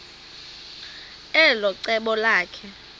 elo cebo lakhe